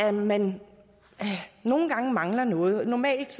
at man nogle gange mangler noget normalt